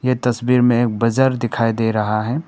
इस तस्वीर में बाजार दिखाई दे रहा है।